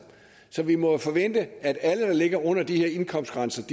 så vi må jo forvente at alle der ligger under de her indkomstgrænser